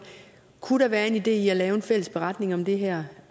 kunne der være en idé i at lave en fælles beretning om det her